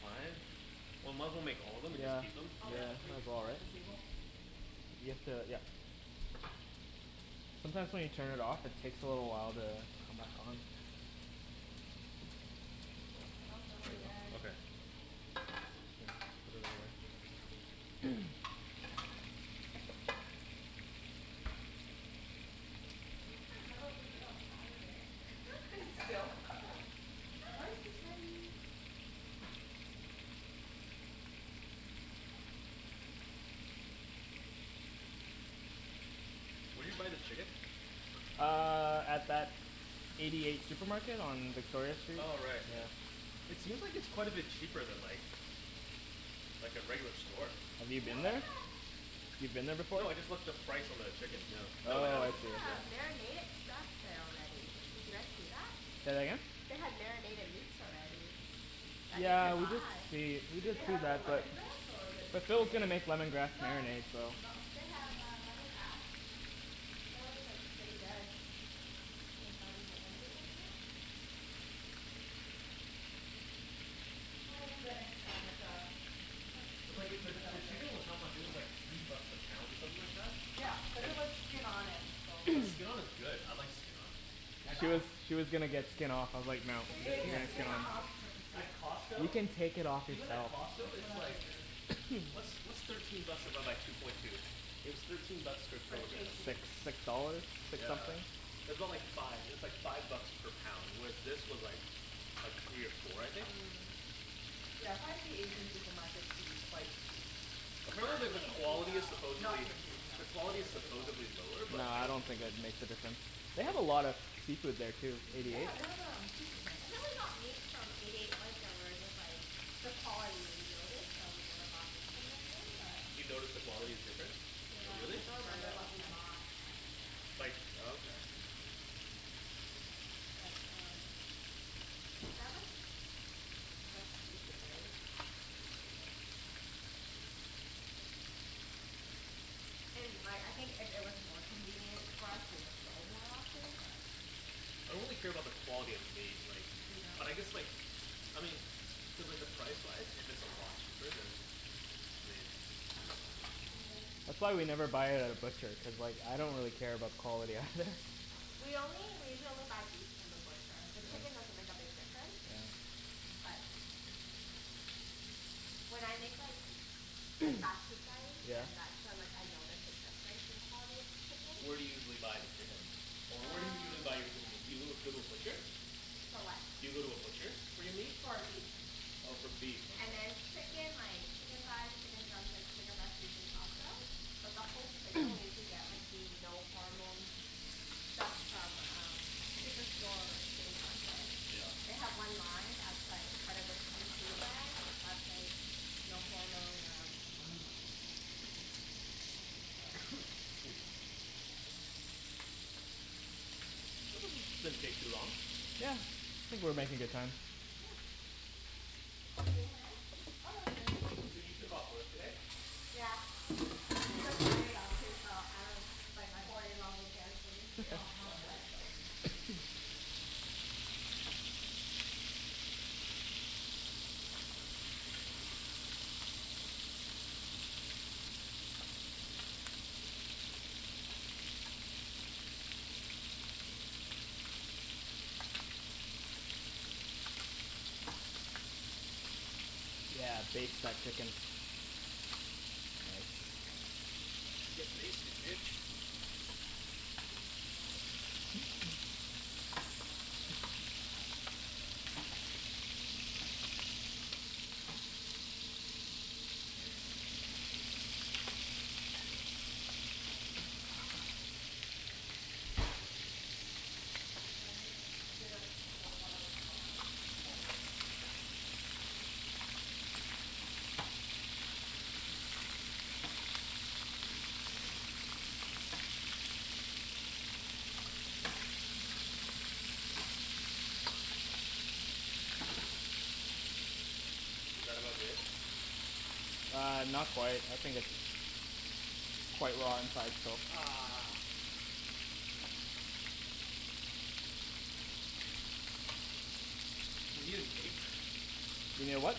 five. Well, might as well make all of'em and then just Yeah, keep them, okay. yeah might as well, right? I'll grab the You have plates and to, yeah. set the table. Sometimes when you turn it off it takes a little while to come back on. It smells really good. Okay. I still can't remember what we did on Saturday. Still? Rice is ready! Where d'you buy the chicken? Uh, at that Eighty eight supermarket on Victoria street. Oh right yeah. It seems like it's quite a bit cheaper than like, like a regular store. Have you You know been they have there? You've been there before? No, I just looked at the price on the chickens, yeah. They No, I haven't. have uh marinated stuff there already. Did you guys see that? Say that again? They have marinated meats already, that you Yeah, can we did buy. see, we Did did they see have the that lemongrass or but the But Phil's gonna Korean. make lemongrass No, marinade so. they have uh lemongrass. Apparently it's like pretty good. Well, we'll do that next time with uh. The, the chicken was how much, it was like three bucks a pound or something like that? Yeah, cuz it was skin-on and bone in. But skin-on is good, I like skin-on. You She guys was, she was gonna get skin off, I was like, "No.". You were gonna get skin off? At You Costco can take it off Even at yourself. Costco That's what it's I like, figured what's what's thirteen bucks divided by two point two? It was thirteen bucks per Per kilogram. It's like kg? six dollars? Six Yeah. something? It's aboutt like five, it was like five bucks per pound. With this was like, like three or four, I think? Mm Yeah I find the Asian supermarkets to be quite cheap. Not Apparently the, the T&T quality is though. supposedly, the quality is supposedly lower No, but I I don't don't think it'd make a difference. They have a lot of seafood there too. Eighty eight? Yeah, they have um, seafood tanks. I think we only got meat from Eighty eight once and we were just like, the quality we noticed, so we never bought meat from there again but. You noticed the quality is different? Yeah, Hm, we Really? I can don't try it remember out this what we time. bought, but yeah. Like, oh okay. But um, yeah. They have like, fresh seafood, right? It's pretty good. And like, I think if it was more convenient for us we would go more often but. I don't really care about the quality of the meat, like. You don't? But I guess like, I mean, cuz like the price-wise, if it's a lot cheaper then, I mean That's why we never buy it at a Yeah. butcher, cuz like I don't really care about the quality either. We only, we usually only buy beef from the butcher, the chicken doesn't make a big difference, but when I make like then that's when like I notice the difference in quality of chickens. Where do you usually buy the chicken? Or where do you usually Um. buy your good meat, you go, go to a butcher? For what. Do you go to a butcher for your meat? For beef. Oh for beef, And okay. then chicken like, chicken thighs, chicken drumsticks, chicken breast usually Costco. But buffalo chicken we usually get like the no hormone stuff from um Superstore or City Market. They Yeah. have one line that's like part of the PC brand that's like no hormone um, so. This doesn't, didn't take too long. Yeah, think we're making good time. Do you need a hand? Oh no I'm good. Okay. So you took off work today? Yeah, I took Friday off, too, so I don't have to bike Nice. four day long weekend for me. Should we get Yeah, baste two that chicken. plates of water or do you think one is enough? Hm we could do two plates, You yeah. can baste It's in that big drawer, just underneath the rice cooker, in the middle there. And I mix a bit of cold water with the hot water? Just K. so it's not piping hot. Is that about good? Uh, not quite. I think it's quite raw inside so Ugh. We need an apron. You need a what?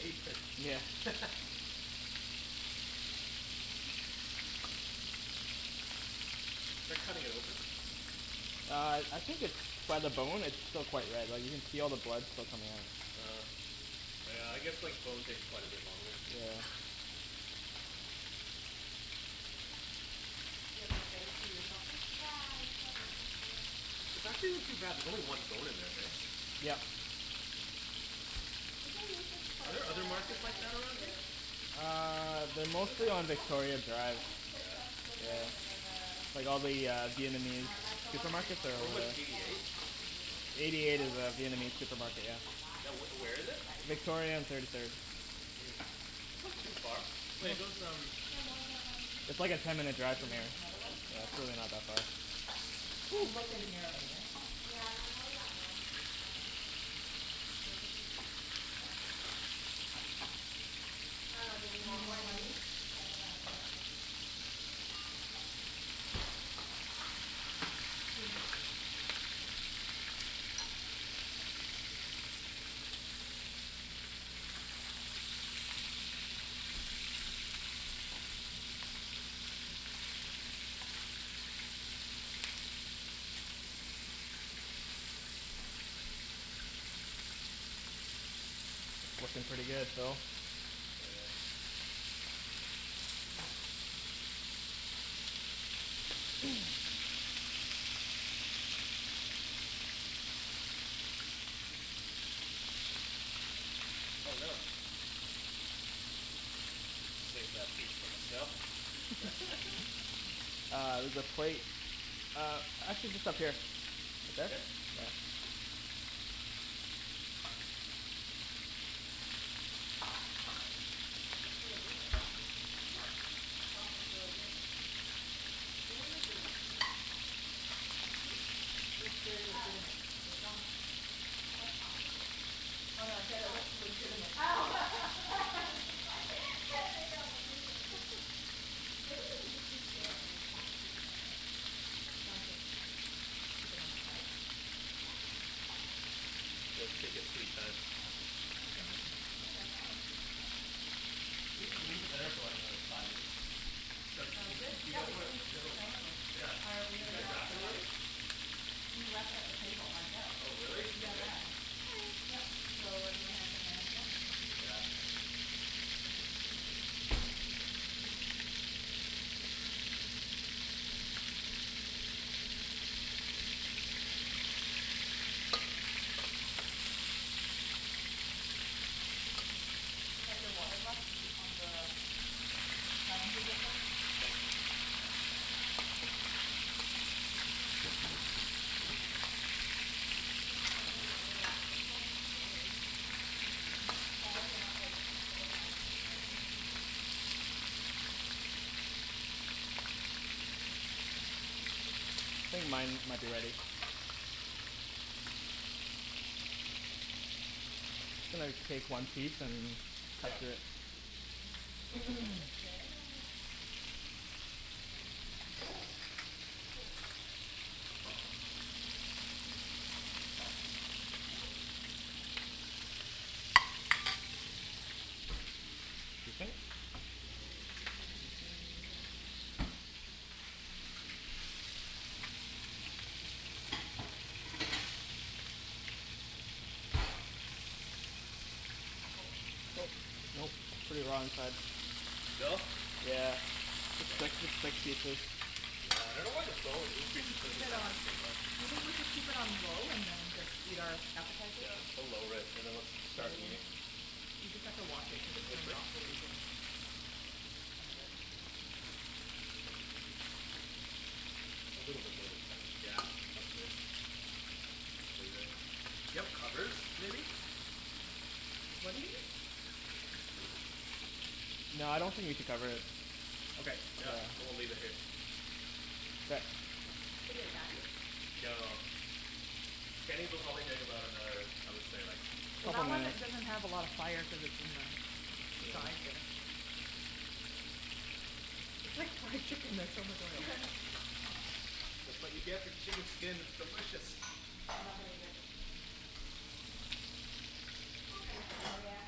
Apron. Yeah. Do I cut it open? Uh I, I think it's, by the bone it's still quite red, like you can see all the blood still coming out. Oh, oh yeah, I guess like bones take quite a bit longer. Yeah You have? Yeah, that's what this is It's for. actually not too bad, there's only one bone in there. heh? Yep. We can use this for Are there other the markets like rice that around here? too. Uh, they're What is mostly that, fish on sauce? Victoria Drive. I did fish Yeah. sauce, Yeah, sugar, vinegar. like all the uh Vietnamese Um like the one that you supermarkets are Wait, over normally there. what's Eighty pour eight? on top of the noodles or Eighty eight anything. is Oh a okay, Yeah, cool. Vietnamese so we supermarket, can serve yeah. that Yeah, if where you want, where is for it? the rice. Victoria and thirty third. Hm. That's like too far. Wait those um. Can I have more than one? It's like a ten minute Do drive you from need here. another one? Yeah, It's really not that far. there's um. You looked in here already right? Yeah there's only that one. Um, all right. Can we just use these? What? I dunno. Do we Do you want want one one each? each? That's what I was Um, yeah. wondering. We can go over there. Looking pretty good, Phil. Yeah. Oh no. Save that feet for myself Uh, there's a plate. Uh, actually just up here. Here? Yeah. Looks really good, the sauce. Huh? The sauce looks really good. They're legitimate. Hm? Looks very legitimate, the Oh. sauce. What sauce is Oh it? no I said it looks legitimate. Oh. I'm so sorry, can't make out what you're saying. Maybe you can just leave two and then we can scoop from it. Yeah, sounds good. Keep it on the side? Yep. take your sweet time. Thanks for making that. Yeah, no problem. Do we just leave it there for like another five minutes? Start Um eating? good, You yeah guys we wanna, can do make you guys the wanna salad rolls. Yeah. Oh, we Did you already guys have it wrap it set up. already? We wrapped it up, the table, ourselves. Oh really? Okay. DIY. Yup so, everyone has their hands washed? Yeah. Is that your water glass on the dining table still? Thanks. This thing's so annoying. It just won't stay. It's Falling out like four, five times already. I think mine might be ready. I think I'll take one piece and cut it through. Ooh, that looks good. Is it? Um Nope, pretty raw inside. Still? Yeah Damn. Yeah, I dunno why the bone would You increase can the keep cooking it time on, by so much. do you think we should keep it on low and then just eat our appetizers? Yeah, we'll lower it and then we'll start eating You just have to watch it cuz it turns off really easily. I can do it. A little bit low is fine. Yeah, that's good. Just leave it. Do you have covers, maybe? What do you need? No, I don't think we need to cover it. Okay, yeah. I will leave it here. Okay. Is it done? No. Kenny's will probably take about another, I would say like Well, that one doesn't have a lot of fire cuz it's in the side there. It's like chicken there's so much oil. That's what you get for chicken skin, it's delicious! I'm not gonna eat it. It's not gonna kill ya.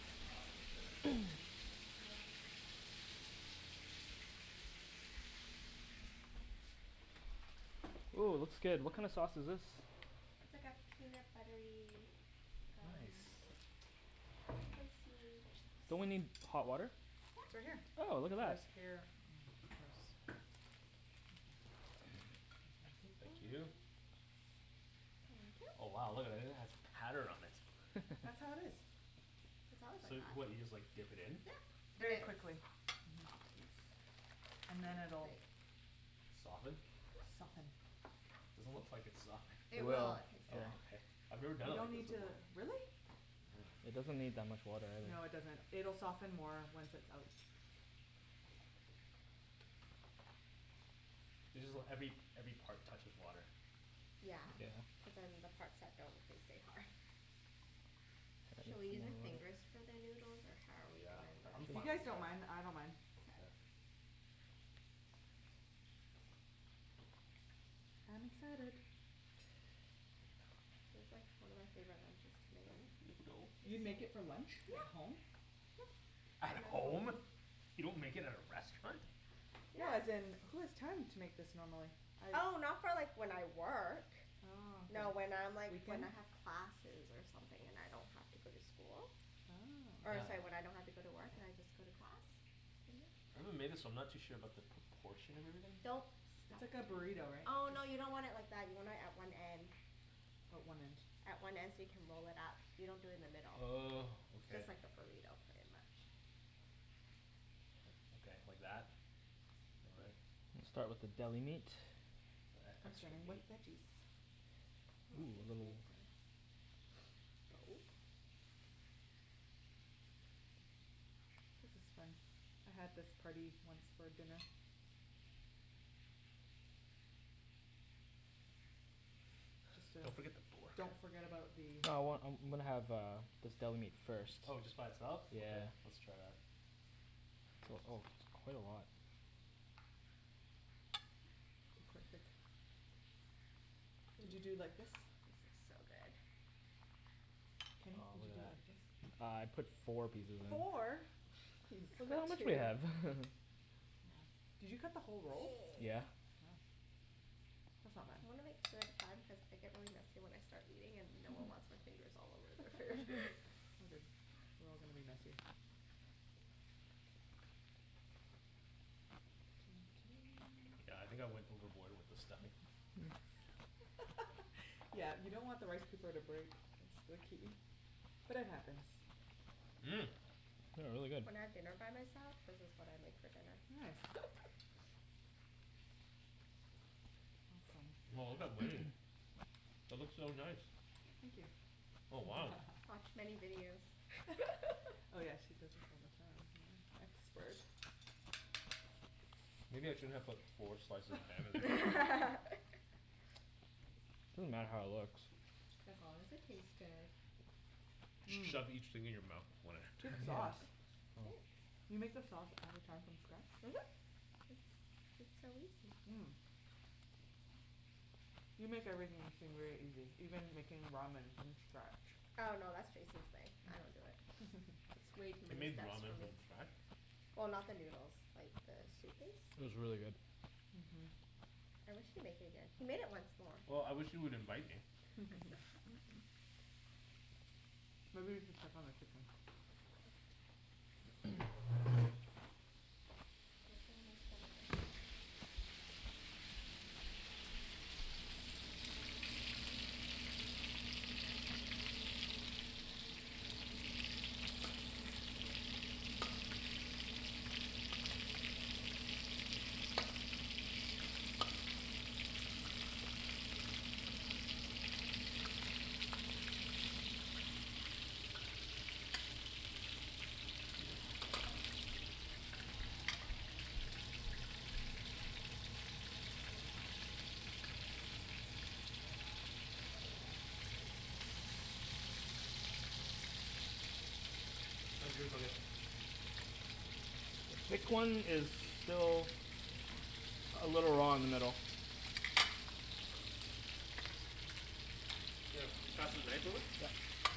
Oh wow, look at this. Yes, do you like the assortment? Yes, very fancy. Ooh looks good, what kinda sauce is this? It's like a peanut buttery um Nice. Spicy fish Don't we need sauce. hot water? It's right Yep. here. Oh, look at that. Thank you. Thank you. Oh wow, look at that, it even has pattern on it. That's how it is. It's always like So, what, you just that. like dip it in? Yeah. And Very it quickly. softens. And then it'll Soften? Yep. Soften. Doesn't look like it's softened. It It It will. will, will. it takes Oh okay. time. I've never done You it don't like this need before. to, Yeah. really? It doesn't need that much water No, it either. doesn't. It'll soften more once it's out. You just want every, every part touches water. Yeah. Cuz then the parts that don't, they stay hard. Should we use our fingers for the noodles or how are we Yeah. I I'm If you fine gonna guys with either. don't mind, I don't Mkay. mind. I'm excited. This is like one of my favorite lunches to make. You make it for lunch? At Yep home? Yep. At home? You don't make it at a restaurant? No, as in, who has time to make this normally. Oh, not for like when I work. Oh No when okay. I'm like when I have classes or something, and I don't have to go to school. Or it's Oh. like when I don't have to go to work and I just go to class. Maybe we made this but I'm not too sure about the proportion of everything. Don't It's stuff like too a much. burrito right? Oh no, you Just- don't want it like that. You want it at one end. Oh, one end. At one end so you can roll it up. You don't do it in the middle. Oh, okay. Just like a burrito, pretty much. Okay, like that? I'll start with the deli meat. E- I'm extra starting meat. with veggies. I want this meat. This is fun. I had this party once for dinner. Just uh Don't forget the pork. Don't forget about the. I want, I'm I'm gonna have uh this deli meat first. Oh just by itself? Okay, let's Yeah. try that. Oh it's quite a lot. Did you do it like this? This looks so good. Kenny, did you do it like this? Uh I put four pieces in Four?! Geez. Just Look put how much we two. have. Did you cut the whole roll? Yeah. Wow. That's not bad. You wanna make two at a time cuz I get really messy when I start eating and no one wants my fingers all over their food. It's all good. We're all gonna be messy. Yeah, I think I went overboard with the stuffing. Yeah you don't want the rice paper to break, that's the key, but it happens. Mmm. This is really good. When I have dinner by myself, this is what I make for dinner. Nice. Awesome. Wow, look at Wenny's. That looks so nice. Thank you. Oh wow. Watch many videos. Oh yeah, she does this all the time yeah, expert. Maybe I shouldn't have put four slices of ham in there. Doesn't matter how it looks. As long as it tastes good. Just shove each thing in your mouth, one at a Good time sauce. Do you make the Thanks. sauce all the time from scatch? Mhm. It's, it's so easy. Mm. You make everything seem very easy, even making ramen from scatch. Oh no, that's Jason's thing, I don't do it. It's way too He many made steps for ramen me. from scratch? Well, not the noodles, like the soup It base. was really good. Mhm. I wish he'd make it again. He made it once more. Well, I wish he would invite me. Maybe you should check on the chicken. Hopefully my stomach doesn't hate me. I did bring Tums. Pretty light. Oh like the Did you bring Tums? I, I brought Oh, Tums. good. Sorry Don't worry about it. I just, just, I can't have anything spicy or cit- citrusy. Like I, that's everything I love. I'm so Mhm sad. Which When did he say you can? He didn't really say No? It's just more like You know How you when you feel? feel better, like it's up to you if you wanna Do you eat know them or what you not. ate again? I think it's like, I had these really really spicy noodles the night before I got Mhm. sick. How's But your? then I was like, it's not like I don't eat spicy The foods thick so I one was is surprised how much it still affected me. Like Mhm. ne- a I didn't little eat raw in the very much middle. of it at all. Just cuz like Where'd you they get were the spicy expensive. noodles from? Jason Ken, brought them home. that's the knife drawer? Oh.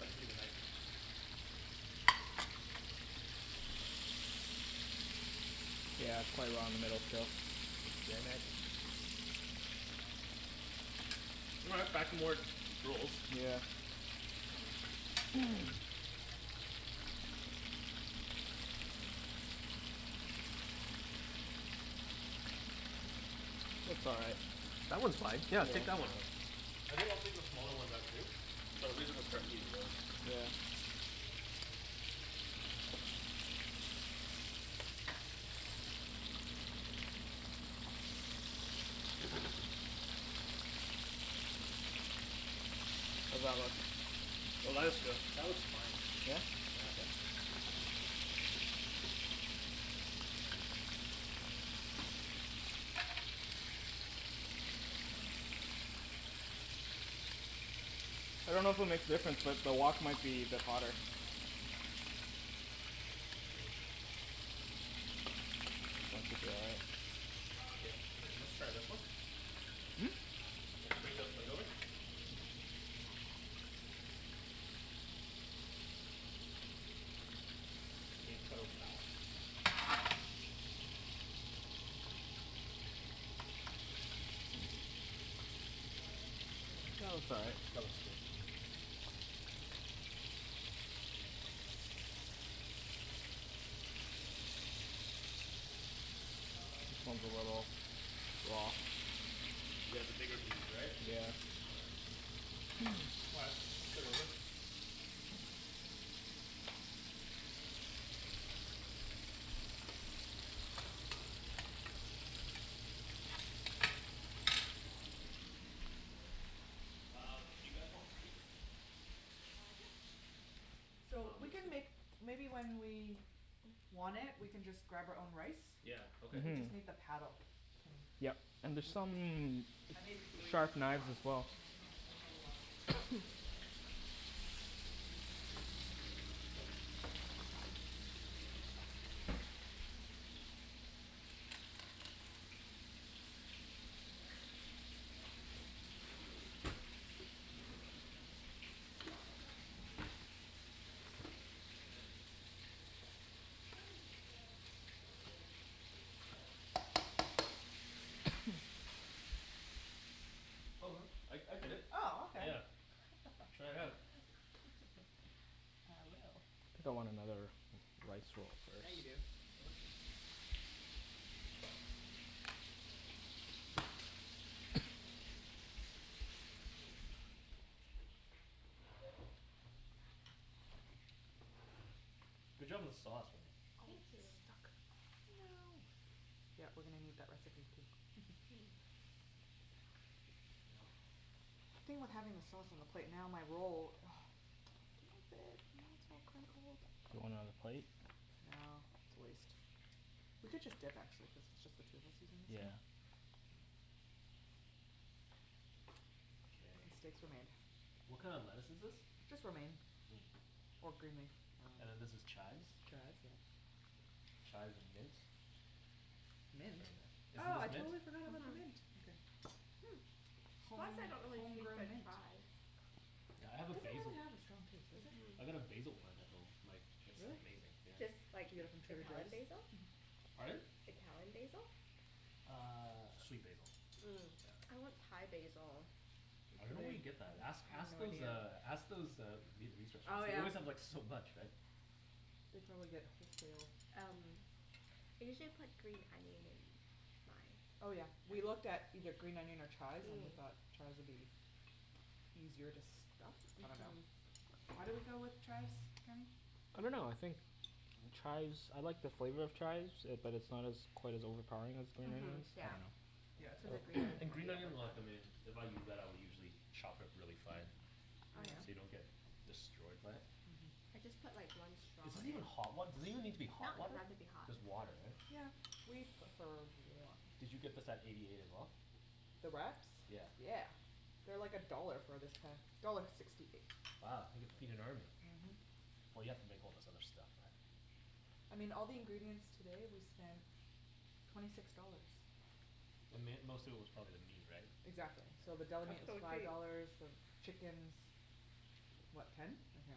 I could use a knife. He like had lunch with uh, ex-coworker of his, and like it was like Taiwanese like noodles Yeah, it's quite drenched in raw like in the middle chilli still. oil. Damn it. You know that chilli fish Well, Ta- um, it's back to more Northern rolls. Beijing Yeah. style? That one just never never sits well with me. Which one? It's called like numbing chilli Mm. Fish oil thing. It's just pure oil. Looks all right That looks fine. Yeah, take that one out. I think I'll take the smaller ones out too. I had it twice, we can start and eating now. every time I got major stomach pain. Yeah, pretty much my stomach like felt the burn when I ate it, but usually it goes away. Mm. And then, Mhm. I was like, I could barely get up, well I did get up out of bed but it's just like How's that constantly look? Oh there that all looks good, day. that looks Mhm, fine. Yeah? Yeah. contractions? Did you get contractions? Mm- mm. I dunno if it'll make a difference but the wok might be a bit hotter. Oh I even saw at the eighty eight market, I saw the Ben Schill the crepe mix, you know the crepe Oh, the thing? Here Vietnamese let's steamed try this crepe? one. Yeah. Not steamed. Here, bring the It's plate Oh. like over. that yellowy crispy pancake thing, they call it um. Oh, never had that. No? It's like yellow, and it comes with lettuce usually at the restaurants. You can wrap it. I've never had it. Oh okay. I'll take you next time. So I dunno if you remember like our That looks all Facebook photos That looks right. but good. when we went to like a Vietnamese farm to like kinda do a f- cooking thing? Mhm. That's what we flipped in the pans. Mm. Like uh the yellow, This I one's always a thought it little was egg, but no there's raw. no egg, it's just like rice Yeah, the bigger piece flour right? mixed with, Yeah. oh shoot, what's that yellow thing. Mm, not saffron. Turmeric. Turmeric! Yeah. Turmeric powder makes it yellow. You mix other things in it, The sauce is water delicious, based. Wenny. Um, do you guys want rice? Uh, yes! So we can make maybe when we want it we can just grab our own rice. Yeah, okay. We just made the paddle, Kenny. Yeah. And there's some I made three sharp knives cups as well so there's a lot of rice. You can Oh make wow. uh, fried rice tomorrow. Yeah, we can make it. I just figured you can always use rice so, why not make more in case. I'm gonna try the pork now. How'd you marinate this one? Just garlic and salt n pepper? Oh same thing, the lemongrass marinade. The pork? I thought you didn't do it. I did, I used the same marinade. I swear you just said earlier, this pork you didn't want to use the marinade because we didn't have enough time. Oh no, I I did it. Oh okay. Yeah, try it out. I will. I think want another rice roll Yeah, you do. It's delicious. Yeah, it is. Good job guys. Good job, team. Mhm. Team rice roll. Good job on the sauce, Oh Wenny. Thank you. it's stuck, no! Yeah, we're gonna need that recipe, too. The thing with having the sauce on the plate, now my roll ugh, it won't fit! Now it's all crinkled. Do you want another plate? No, it's a waste. We could just dip actually cuz it's just the two of us eating this thing. Yeah. Okay. What kind of lettuce is this? Just romaine, or green leaf. And then this is chives? Chives, yeah. Chives with mint. Mint? Isn't Oh, I this mint? totally forgot about the mint, okay. Why is it Home, that I don't really taste home-grown the mint. chives? Yeah, I have a It doesn't basil really have a strong taste, does it? Mhm. I got a basil plant at home, like it's Really? amazing yeah. Just, like, Did you get it from Trader Joes? Italian basil? Pardon? Italian basil? Uh, sweet basil. Mm. I want Thai basil. I don't know where you get that. Ask, ask those uh, ask those uh, Vietnamese Oh restaurants. They yeah. always have like so much, right. They probably get wholesale. Um, I usually put green onion in mine. Oh yeah, we looked at either green onion or chives and we thought chives would be easier to stuff, I dunno. Mhm. Why did we go with chives, Kenny? I dunno, I think chives, I like the flavor of chives it, but it's not as quite as overpowering as green Mhm, onions. yeah. Cuz the green And green onion's onion I like em in, if I use that I'll usually chop it really fine, Oh so yeah? you don't get destroyed by it. I just put like one straw Is this in. even hot wat- does it even need to be No, hot it doesn't water? have to be hot. Just water right? Yeah, we prefer warm. Did you get this at Eighty eight as well? The wraps? Yeah. Yeah. They're like a dollar for this pack, dollar sixty eight. Wow. You can feed an army. Mhm. Well you have to make all this other stuff. I mean, all the ingredients today we spent twenty six dollars. The mai- most of it was probably the meat, right? Exactly. So the deli That's meat was so five cheap. dollars, the chickens, what, ten? I can't